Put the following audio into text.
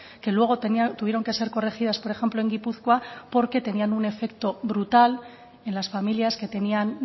que luego tuvieron que ser corregidas por ejemplo en gipuzkoa porque tenían un efecto brutal en las familias que tenían